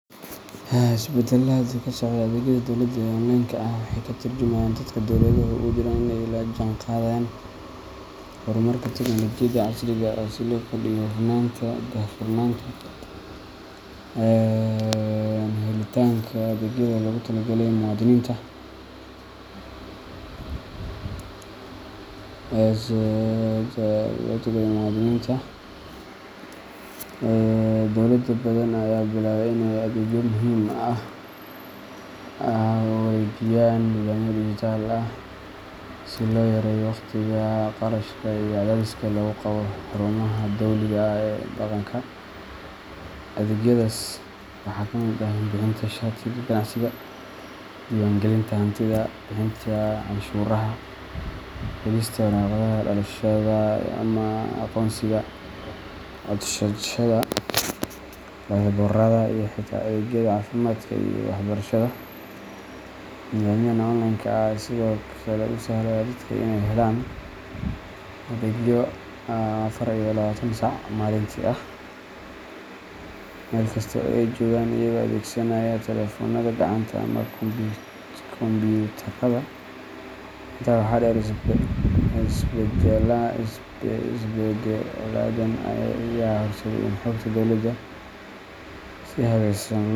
Isbeddelada hadda ka socda adeegyada dowladda ee online-ka ah waxay ka tarjumayaan dadaalka dowladuhu ugu jiraan in ay la jaanqaadaan horumarka tiknoolajiyadda casriga ah, si loo kordhiyo hufnaanta, daahfurnaanta, iyo helitaanka adeegyada loogu talagalay muwaadiniinta. Dowlado badan ayaa bilaabay in ay adeegyo muhiim ah u wareejiyaan nidaamyo dijitaal ah, si loo yareeyo waqtiga, kharashka, iyo cadaadiska lagu qabo xarumaha dowliga ah ee dhaqanka. Adeegyadaas waxaa ka mid ah bixinta shatiga ganacsiga, diiwaangelinta hantida, bixinta canshuuraha, helista waraaqaha dhalashada ama aqoonsiga, codsashada baasaboorrada, iyo xitaa adeegyada caafimaadka iyo waxbarashada. Nidaamyadan online-ka ah ayaa sidoo kale u sahlaya dadka inay helaan adeegyo afar iyo labatan saac maalintii ah, meel kasta oo ay joogaan, iyagoo adeegsanaya taleefoonada gacanta ama kombuyuutarada. Intaa waxaa dheer, isbeddeladan ayaa horseeday in xogta dowladda si habaysan lo.